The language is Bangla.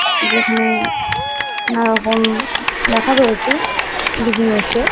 এখানে নানা রকম লেখা রয়েছে ।